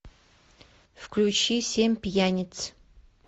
включи семь пьяниц